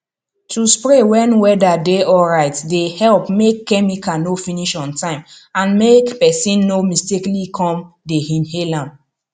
to spray when whether dey alright dey help make chemical no finish ontime and make person no mistakenly come dey inhale am